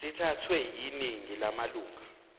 sithathwe yiningi lamalunga